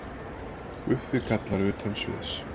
Guffi kallar utan sviðs.